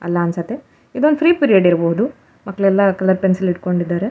ಅಲ್ಲ ಅನ್ಸುತ್ತೆ ಇದು ಒಂದ್ ಫ್ರೀ ಪೀರಿಯಡ್ ಇರಬಹುದು ಮಕ್ಕಳೆಲ್ಲ ಕಲರ್ ಪೆನ್ಸಿಲ್ ಹಿಡ್ಕೊಂಡಿದ್ದಾರೆ.